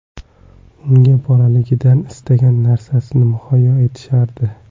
Unga bolaligidan istagan narasini muhayyo etishardi.